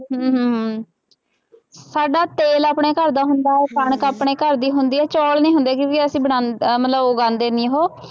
ਹਮ ਸਾਡਾ ਤੇਲ ਆਪਣਾ ਘਰ ਦਾ ਹੁੰਦਾ, ਕਣਕ ਆਪਣੇ ਘਰ ਦੀ ਹੁੰਦੀ ਹੈ ਚੌਲ ਨੀ ਹੁੰਦੇ ਕਿਉਂਕਿ ਅਸੀਂ ਬਣਾ ਅਹ ਮਤਲਬ ਉਗਾਉਂਦੇ ਨੀ ਉਹ।